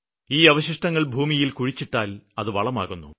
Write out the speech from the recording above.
ഈ അവശിഷ്ടങ്ങള് ഭൂമിയില് കുഴിച്ചിട്ടാല് അതും വളമാകുന്നു